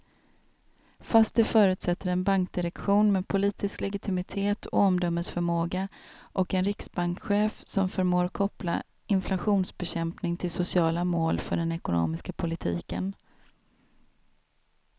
Fast det förutsätter en bankdirektion med politisk legitimitet och omdömesförmåga och en riksbankschef som förmår koppla inflationsbekämpning till sociala mål för den ekonomiska politiken.